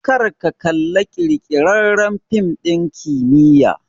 Kar ka kalla ƙirƙirarren fim ɗin kimiyya!